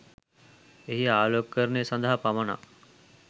එහි ආලෝකකරණය සදහා පමණක්